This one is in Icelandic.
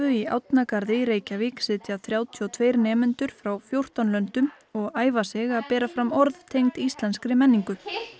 í Árnagarði í Reykjavík sitja þrjátíu og tveir nemendur frá fjórtán löndum og æfa sig að bera fram orð tengd íslenskri menningu